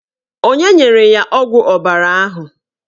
Onye nyere ya ọgwụ ọbara ahụ?